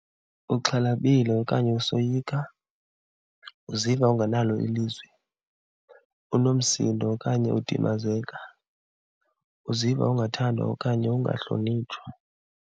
Uxhalabile okanye usoyika. Uziva ungenalo ilizwi, unomsindo okanye udimazeka. Uziva ungathandwa okanye ungahlonitshwa.